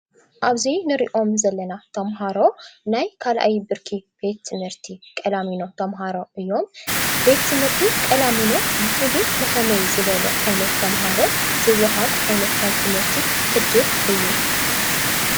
ኣብዚ ንሪኦም ዘለና ተምሃሮ ናይ ካልኣይ ብርኪ ቤት ትምህርቲ ቀላሚኖ ተምሃሮ እዮም። ቤት ትምህርቲ ቀላሚኖ ብፍሉይ ንከመይ ዝበሉ ዓይነት ተምሃሮ ዝወሃብ ዓይነት ናይ ትምህርቲ ዕድል እዩ?